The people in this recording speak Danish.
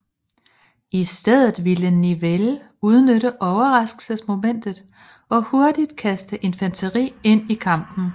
I stedet ville Nivelle udnytte overraskelsesmomentet og hurtigt kaste infanteriet ind i kampen